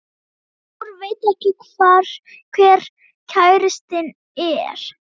Dór veit ekki hver kærastinn er.